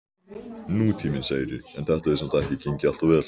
Nútíminn, segirðu, en þetta hefur samt ekki gengið alltof vel?